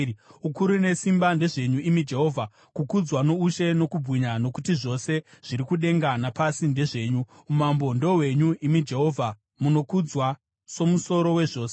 Ukuru nesimba ndezvenyu, imi Jehovha, kukudzwa noushe nokubwinya, nokuti zvose zviri kudenga napasi ndezvenyu. Umambo ndohwenyu, imi Jehovha munokudzwa somusoro wezvose.